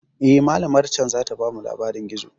Eh, malamar can zata bamu labarin gizo.